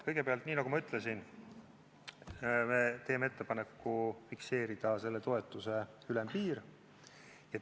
Kõigepealt, nii nagu ma ütlesin, me teeme ettepaneku fikseerida selle toetuse ülempiir.